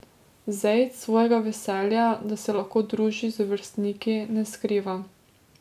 Zejd svojega veselja, da se lahko druži z vrstniki, ne skriva.